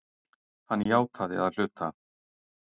Hann játaði að hluta